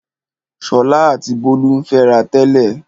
Ṣọlá àti Bólú ń fẹ́ra tẹ́lẹ̀.